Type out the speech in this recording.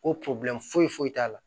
Ko foyi foyi t'a la